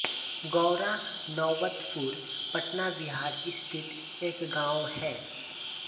गौरा नौबतपुर पटना बिहार स्थित एक गाँव है